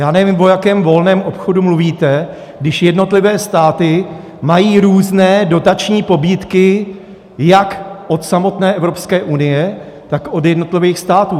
Já nevím, o jakém volném obchodu mluvíte, když jednotlivé státy mají různé dotační pobídky jak od samotné Evropské unie, tak od jednotlivých států.